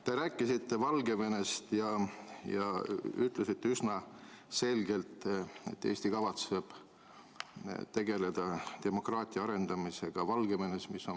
Te rääkisite Valgevenest ja ütlesite üsna selgelt, et Eesti kavatseb tegeleda demokraatia arendamisega Valgevenes.